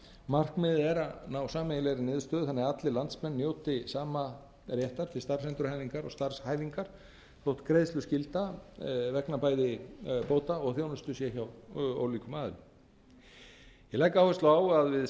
markmiðið er að ná sameiginlegri niðurstöðu þannig að allir landsmenn njóti sama réttar til starfsendurhæfingar og starfshæfingar þótt greiðsluskylda vegna bæði bóta og þjónustu sé hjá líkum aðilum ég legg áherslu á að við